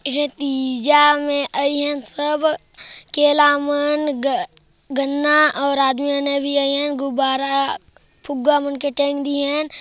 एक ठो तीजा में और इहाँ सब केला मन ग-गन्ना और आदमी म ने भी आई है गुब्बारा फुग्गा मन के टेंग दिए हन।